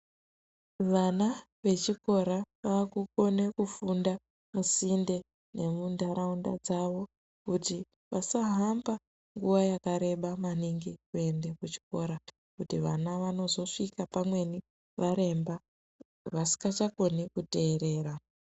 Vana vechikora vakukone kufunda musinde nemundaraunda dzavo kuti vasahamba nguva yakareba maningi kuyende kuchikora kuti vana vanozosvika pamweni varemba vasingachakoni kuterera.